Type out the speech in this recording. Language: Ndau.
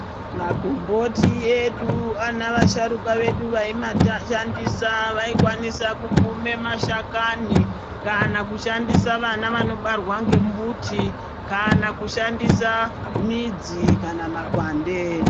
Makomboti edu vanavasharukwa vedu vaimashandisa vaikwanisa kukume mashakani kana kushandisa vana vanobarwa ngembuti kana kushandisa midzi kana makwande.